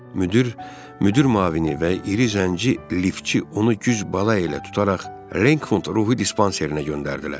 Müdür, müdür müavini və iri zənci liftçi onu güc bala ilə tutaraq Renford ruhi dispanserinə göndərdilər.